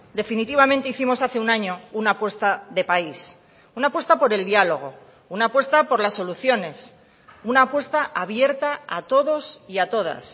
definitivamente hicimos hace un año una apuesta de país una apuesta por el diálogo una apuesta por las soluciones una apuesta abierta a todos y a todas